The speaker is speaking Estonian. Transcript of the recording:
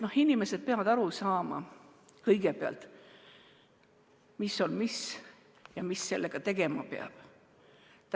Inimesed peavad aru saama kõigepealt sellest, mis on mis ja mida selle puhul tegema peab.